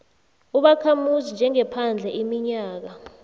ubakhamuzi njengephandle iminyaka